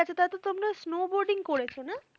তাহলে তো তোমরা snowboarding করেছো না?